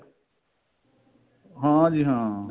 ਹਾਂ ਜੀ ਹਾਂ